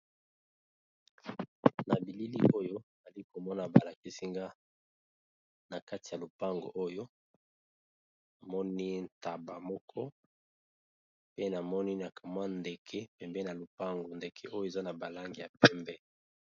na bilili oyo ali komona balakesinga na kati ya lupango oyo amoni ntaba moko pe namoni amwa ndeke pembe na lupango ndeke oyo eza na balange ya pembe